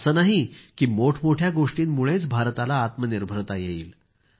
असं नाही की मोठमोठ्या गोष्टींमुळेच भारताला आत्मनिर्भरता येईल